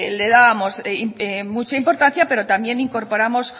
le dábamos mucha importancia pero también incorporamos